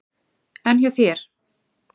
En hjá þér?